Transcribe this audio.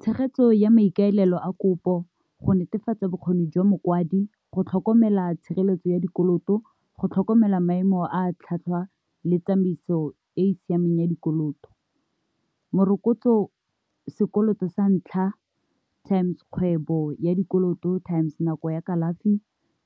Tshegetso ya maikaelelo a kopo, go netefatsa bokgoni jwa mokwadi, go tlhokomela tshireletso ya dikoloto, go tlhokomela maemo a tlhatlhwa le tsamaiso e e siameng ya dikoloto. Morokotso sekoloto sa ntlha times kgwebo ya dikoloto, times nako ya kalafi,